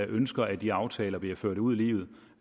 ønsker at de aftaler bliver ført ud i livet